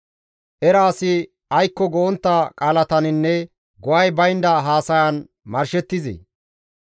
Era asi aykko go7ontta qaalataninne go7ay baynda haasayan marshettizee?